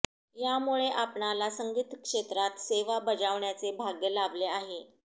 यामुळे आपणाला संगीत क्षेत्रात सेवा बजाविण्याचे भाग्य लाभले आहे